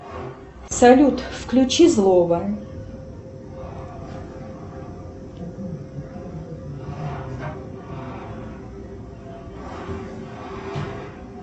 салют включи злого